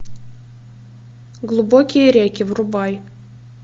глубокие реки врубай